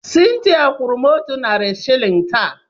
Cynthia kwụrụ m otu narị shịlịn taa.